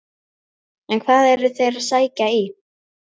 En hvað eru þeir að sækja í?